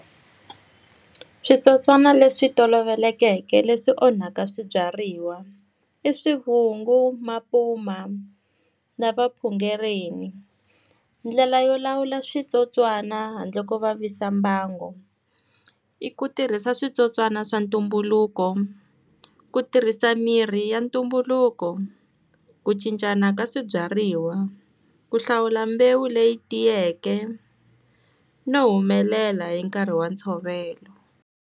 Switsotswana leswi tolovelekeke leswi onhaka swibyariwa. I swivungu, mapuma na vapungereni. Ndlela yo lawula switsotswana handle ko vavisa mbangu. I ku tirhisa switsotswana swa ntumbuluko, ku tirhisa mirhi ya ntumbuluko, ku cincana ka swibyariwa, ku hlawula mbewu leyi tiyeke, no humelela hi nkarhi wa ntshovelo.